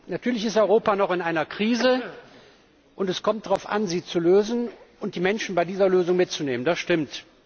Natürlich ist Europa noch in einer Krise, und es kommt darauf an, sie zu lösen und die Menschen bei dieser Lösung mitzunehmen das stimmt.